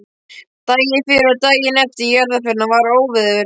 Daginn fyrir og daginn eftir jarðarförina var óveður.